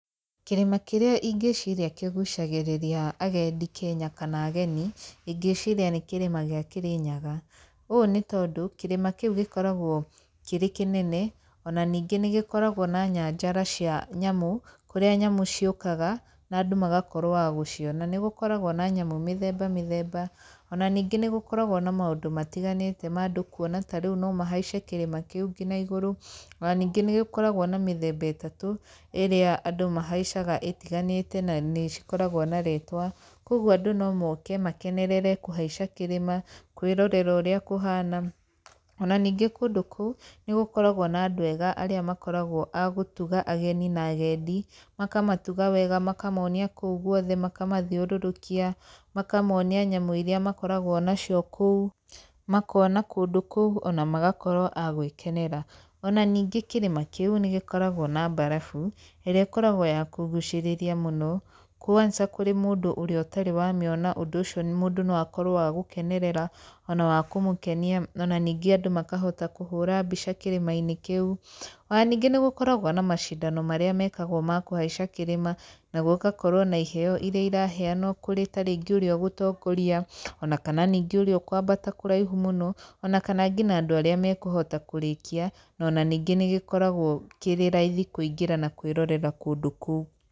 Kĩrĩma kĩrĩa ingĩciria kĩgucagĩrĩria agendi Kenya kana ageni, ingĩciria nĩ kĩrĩma gĩa Kĩrĩnyaga. Ũũ nĩ tondũ, kĩrĩma kĩu gĩkoragwo kĩrĩ kĩnene ona ningĩ nĩ gĩkoragwo na nyanjara cia nyamũ, kũrĩa nyamũ ciũkaga, na andũ magakorwo a gũciona. Nĩ gũkoragwo na nyamũ mĩthemba mĩthemba, ona ningĩ nĩ gũkorwo na maũndũ matiganĩte ma andũ kuona, ta rĩu no mahaice kĩrĩma kĩu ngina igũrũ. Ona ningĩ nĩ gĩkoragwo na mĩthemba ĩtatũ, ĩrĩa andũ mahaicaga ĩtiganĩte na nĩ cikoragwo na rĩtwa. Kũguo andũ no moke makenerere kũhaica kĩrĩma, kwĩrorera ũrĩa kũhana, ona ningĩ kũndũ kũu, nĩ gũkoragwo na andũ ega arĩa makoragwo a gũtuga ageni na agendi, makamatuga wega, makamonia kũu guothe, makamathiũrũrũkia, makamonia nyamũ irĩa makoragwo nacio kũu, makona kũndũ kũu ona magakorwo a gwĩkenera. Ona ningĩ kĩrĩma kĩu nĩ gĩkoragwo na mbarabu, ĩrĩa ĩkoragwo ya kũgucĩrĩria mũno kwanza kũrĩ mũndũ ũrĩa ũtarĩ wamĩona ũndũ ũcio mũndũ no akorwo wa gũkenerera ona wa kũmũkenia ona ningĩ andũ makahota kũhũra mbica kĩrĩma-inĩ kĩu. Ona ningĩ nĩ gũkoragwo na macindano marĩa mekagwo ma kũhaica kĩrĩma na gũgakorwo na iheo irĩa iraheanwo kũrĩ tarĩngĩ ũrĩa ũgũtongoria ona kana ningĩ ũrĩa ũkwambata kũraihu mũno, ona kana ngina andũ arĩa mekũhota kũrĩkia na ona ningĩ nĩ gĩkoragwo kĩrĩ raithi kũingĩra na kwĩrorera kũndũ kũu.